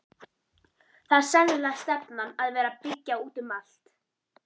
Það er sennilega stefnan að vera byggja út um allt?